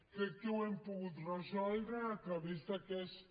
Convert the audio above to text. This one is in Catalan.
crec que ho hem pogut resoldre a través d’aquesta